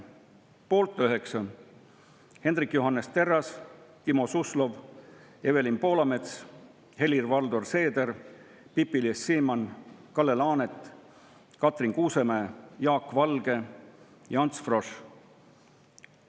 Poolt 9: Hendrik Johannes Terras, Timo Suslov, Evelin Poolamets, Helir-Valdor Seeder, Pipi-Liis Siemann, Kalle Laanet, Katrin Kuusemäe, Jaak Valge ja Ants Frosch.